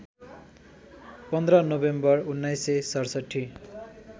१५ November १९६७